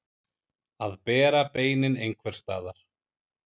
Að bera beinin einhvers staðar